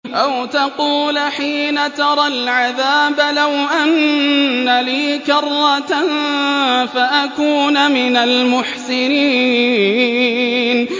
أَوْ تَقُولَ حِينَ تَرَى الْعَذَابَ لَوْ أَنَّ لِي كَرَّةً فَأَكُونَ مِنَ الْمُحْسِنِينَ